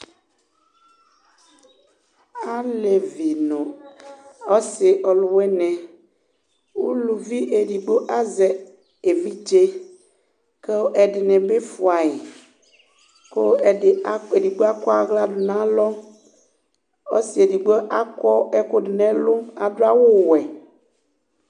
alɛvi nʋ ɔsii ɔlʋwini, ʋlʋvi ɛdigbɔ azɛ ɛvidzɛ kʋ ɛdini bi ƒʋai kʋ ɛdigbɔ akɔ ala nʋ alɔ, ɔsii ɛdigbɔ akɔɛkʋ dʋnʋ ɛlʋ adʋ awʋ wɛ